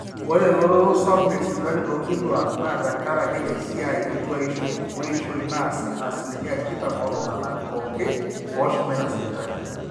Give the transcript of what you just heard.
ore elototo sapuk esipitali toonkituaak naa tekaraki esiai etuaishu weishoi naa asilimia tikitam ooltung'anak pooki ooshomoita sipitali